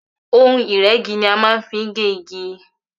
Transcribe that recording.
Ohun ìrégi ni a má n fi gé igi